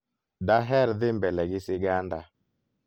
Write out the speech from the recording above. daher dhi mbele gi siganda